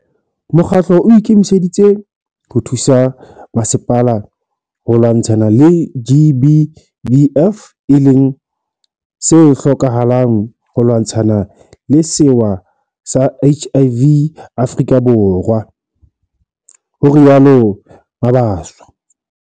Mokgatlo o ikemiseditse ho thusa masepala ho lwantshana le GBVF e leng se hlokahalang ho lwantshana le sewa sa HIV Afrika Borwa, ho rialo Mabaso.